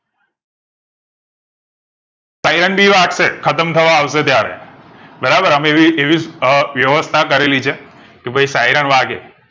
Siren ભી વાગશે ખતમ તહવાં આવશે ત્યારે બરાબર અમે એવી અ એવી વ્યવસ્થા કરેલી છે કે ભઈ siren વાગે